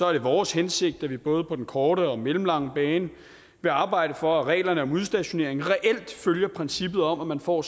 er det vores hensigt at vi både på den korte og mellemlange bane vil arbejde for at reglerne om udstationering reelt følger princippet om at man får